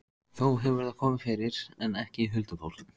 Þó hefur það komið fyrir, en ekki huldufólk.